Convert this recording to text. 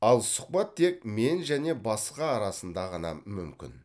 ал сұхбат тек мен және басқа арасында ғана мүмкін